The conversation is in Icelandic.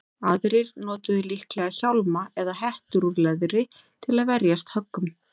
Aðrir notuðu líklega hjálma eða hettur úr leðri til að verjast höggum.